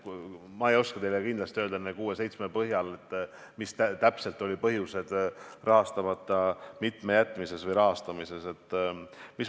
Ma ei oska teile kindlasti öelda nende kuue-seitsme põhjal, mis täpselt olid rahastamata jätmise või rahastamise põhjused.